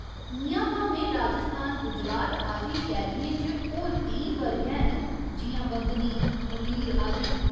इ'यां भामें राजस्थान, गुजरात आदि शैलियें च होर केईं वर्ग हैन जि'यां बंदनी, मलीर आदि।